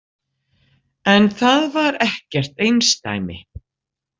En það var ekkert einsdæmi.